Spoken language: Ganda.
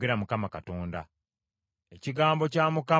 Ekigambo kya Mukama ne kinzijira nti,